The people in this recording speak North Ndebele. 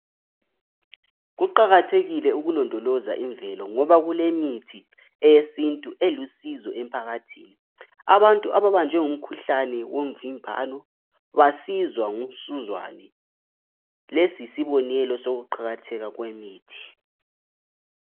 Kuqakathekile ukulondoloza imvelo ngoba kulemithi yesintu e lusizo emphakathini, abantu ababanjwe ngumkhuhlane womvimbano basizwa ngumsuzwane lesi yisibonelo sokuqakatheka kwemithi.